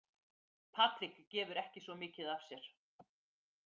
Patrik gefur ekki svo mikið af sér.